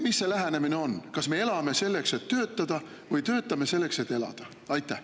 Milline see lähenemine on: kas me elame selleks, et töötada, või töötame selleks, et elada?